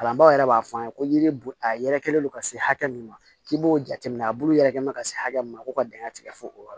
Kalanbaaw yɛrɛ b'a fɔ an ye ko yiri bu a yɛrɛ kɛlen don ka se hakɛ min ma k'i b'o jateminɛ a bulu yɛrɛ bɛ ka se hakɛ min ma ko ka dingɛ tigɛ fo o yɔrɔ